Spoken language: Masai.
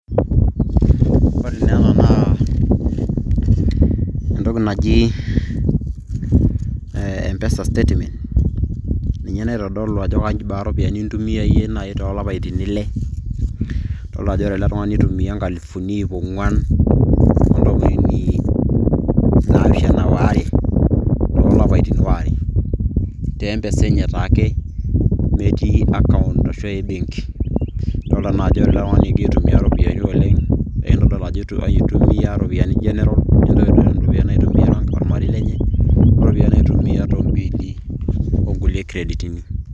ore naa ena naa entoki naji, empesa statement ,ninye, naitodolu ajo kebaa iropiyiani nintumia iyie toolapaitin ile, idoolta ajo ore ele tungani nitumia inkalifuni iip ong'uan, te empesa enye taake metii account ebenki.